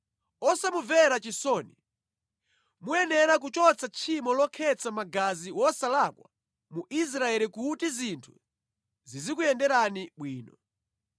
Osamumvera chisoni. Muyenera kuchotsa tchimo lokhetsa magazi wosalakwa mu Israeli kuti zinthu zizikuyenderani bwino.